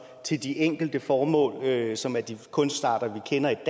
til de enkelte formål som er de kunstarter vi kender i